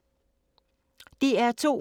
DR2